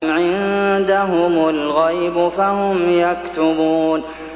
أَمْ عِندَهُمُ الْغَيْبُ فَهُمْ يَكْتُبُونَ